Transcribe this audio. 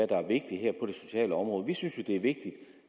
sociale område vi synes jo det er vigtigt